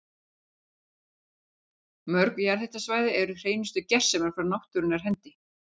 Mörg jarðhitasvæði eru hreinustu gersemar frá náttúrunnar hendi.